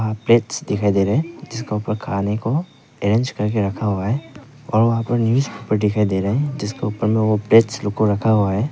Plates दिखाई दे रहे जिसका ऊपर खाने को अरेंज करके रखा हुआ है और वहां पर न्यूज़ पेपर दिखाई दे रहे हैं जिसका ऊपर में प्लेट्स लोग को रखा हुआ है।